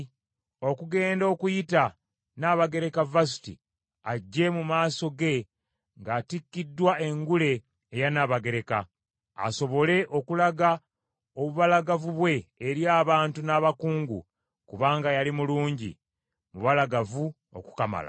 okugenda okuyita Nnabagereka Vasuti ajje mu maaso ge ng’atikkiddwa engule eya Nnabagereka, asobole okulaga obubalagavu bwe eri abantu n’abakungu, kubanga yali mulungi, mubalagavu okukamala.